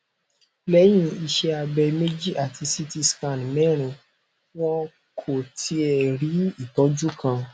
lẹyìn iṣẹ abẹ mẹjì ati ct scan mẹrin wọn kò tíẹ rí ìtọjú kan